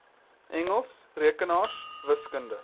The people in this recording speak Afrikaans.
engels rekenaars wiskunde